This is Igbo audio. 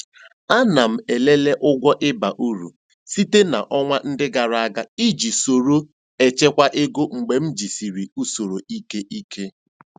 Ana m elele ụgwọ ịba uru site na ọnwa ndị gara aga iji soro echekwa ego mgbe m jisịrị usoro ike ike.